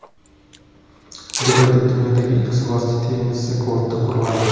Dubayda dunyodagi ilk suvosti tennis korti quriladi .